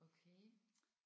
Okay